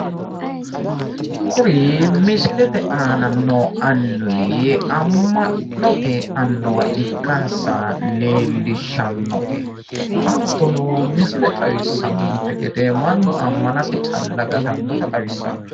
kuri misilete aana noo annuwi amma'note annuwa ikkansa leellishshannote. hattono misile xawissannonte gede mannu ammanatenni calla gatannota xawissanno.